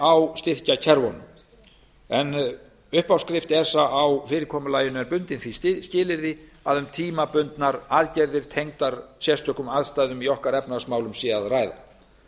á styrkjakerfunum uppáskrift esa á fyrirkomulaginu er bundin því skilyrði að um tímabundnar aðgerðir tengdar sérstökum aðstæðum í efnahagsmálum okkar sé að ræða